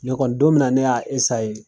Ne kɔni don min na ne y'a esaye